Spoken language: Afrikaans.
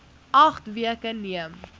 agt weke neem